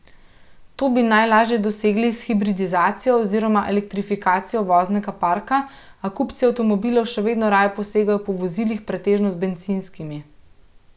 To bi najlažje dosegli s hibridizacijo oziroma elektrifikacijo voznega parka, a kupci avtomobilov še vedno raje posegajo po vozilih pretežno z bencinskimi.